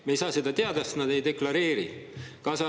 Me ei saa seda teada, sest nad ei deklareeri seda.